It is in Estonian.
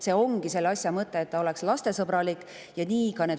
See, et oleks lastesõbralik, ongi selle asja mõte.